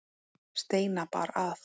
Steina bar að.